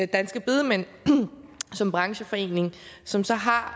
danske bedemænd som brancheforening som så har